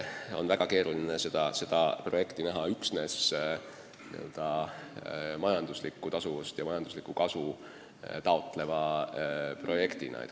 On väga keeruline pidada seda projekti üksnes majanduslikku tasuvust ja majanduslikku kasu taotlevaks kavaks.